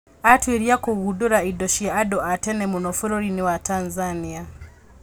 Atuĩria kũgundũra indo cia andũ a tene mũno bũrũri-inĩ wa Tanzania